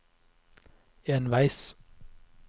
enveis